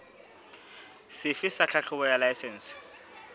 sefe sa tlhahlobo ya laesense